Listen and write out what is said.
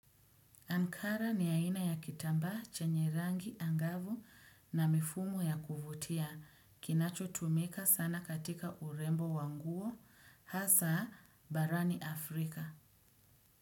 Ankara ni aina ya kitambaa chenye rangi angavu na mifumo ya kuvutia kinacho tumika sana katika urembo wa nguo hasa barani Afrika.